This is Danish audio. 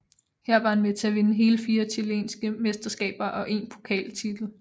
Her var han med til at vinde hele fire chilenske mesterskaber og én pokaltitel